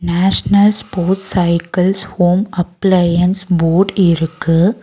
National sports cycles home appliances board இருக்கு.